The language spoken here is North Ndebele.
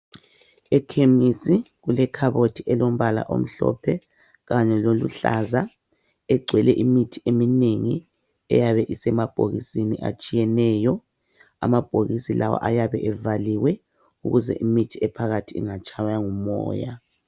Ekhemisi kulekhabothi elombala omhlophe kanye loluhlaza engcwele imithi eminengi eyabe isemabhokisini atshiyeneyo. Amabhokisi lawa ayabe evaliwe ukuze imithi ephakathi ingatshaywa ngumoya.